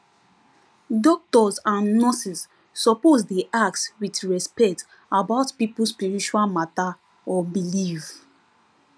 doctors and nurses suppose dey ask with respect about people spiritual matter or belief